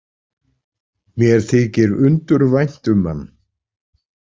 Mér þykir undur vænt um hann.